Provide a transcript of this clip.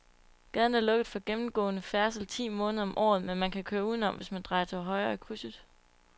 Gaden er lukket for gennemgående færdsel ti måneder om året, men man kan køre udenom, hvis man drejer til højre i krydset.